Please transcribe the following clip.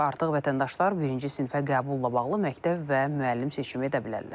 Artıq vətəndaşlar birinci sinifə qəbulla bağlı məktəb və müəllim seçimi edə bilərlər.